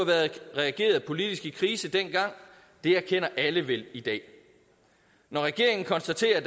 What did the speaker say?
været reageret politisk på krisen dengang det erkender alle vel i dag når regeringen konstaterer at